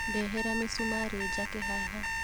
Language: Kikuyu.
Ndehera mĩcumarĩ njake haha